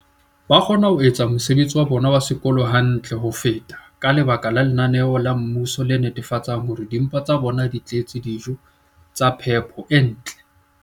ba kgona ho etsa mosebetsi wa bona wa sekolo hantle ho feta ka lebaka la lenaneo la mmuso le netefatsang hore dimpa tsa bona di tletse dijo tsa phepo e ntle.